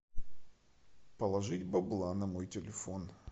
положить бабла на мой телефон